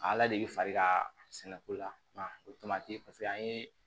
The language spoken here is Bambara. Ala de bɛ fari ka sɛnɛ ko la o tomati paseke an ye